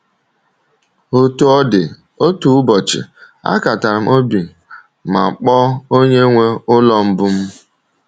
Otú ọ dị, otu ụbọchị, akatara m obi ma kpọọ onye nwe ụlọ mbụ m.